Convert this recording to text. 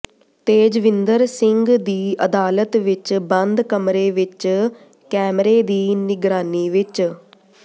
ਤੇਜਵਿੰਦਰ ਸਿੰਘ ਦੀ ਅਦਾਲਤ ਵਿਚ ਬੰਦ ਕਮਰੇ ਵਿਚ ਕੈਮਰੇ ਦੀ ਨਿਗਰਾਨੀ ਵਿਚ